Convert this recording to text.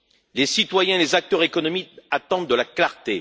Les citoyens et les acteurs économiques attendent de la clarté.